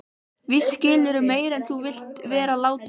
Víst skilurðu meira en þú vilt vera láta.